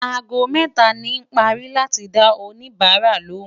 àgó méta ní pari láti dá òní bára lòún